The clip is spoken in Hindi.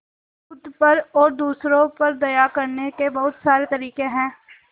खुद पर और दूसरों पर दया करने के बहुत सारे तरीके हैं